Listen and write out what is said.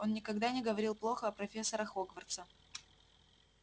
он никогда не говорил плохо о профессорах хогвартса